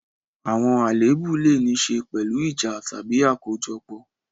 Àwọn àléébù lè ní í ṣe pẹ̀lú ìjà tàbí àkójọpọ̀.